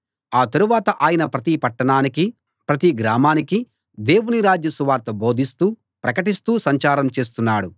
ఆ తరువాత ఆయన ప్రతి పట్టణానికీ ప్రతి గ్రామానికీ దేవుని రాజ్య సువార్త బోధిస్తూ ప్రకటిస్తూ సంచారం చేస్తున్నాడు